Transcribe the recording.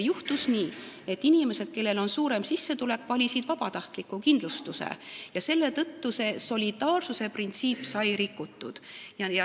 Juhtus nii, et inimesed, kellel on suurem sissetulek, valisid vabatahtliku kindlustuse ja selle tõttu sai solidaarsusprintsiip rikutud.